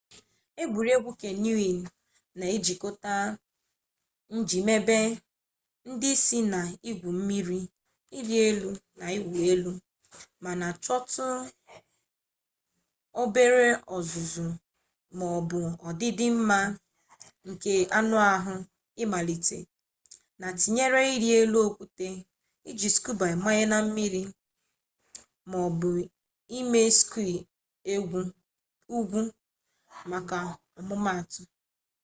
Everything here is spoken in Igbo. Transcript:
egwuregwu kanyọnịn na-ejikọta njìmebe ndị si na igwu mmiri ịrị elu na ịwụ elu--mana chọtụ obere ọzụzụ ma ọ bụ ọdịdị mma nke anụ ahụ imalite n'ịtụnyere ịrị elu okwute iji skuba amanye na mmiri maọbụ ime skii ugwu maka ọmụmaatụ